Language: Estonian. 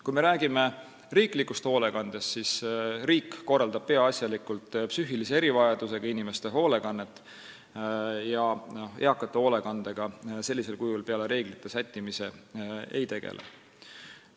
Kui me räägime riiklikust hoolekandest, siis tuleb öelda, et riik korraldab peaasjalikult psüühilise erivajadusega inimeste hoolekannet ja eakate hoolekandega sellisel kujul peale reeglite sättimise ei tegele.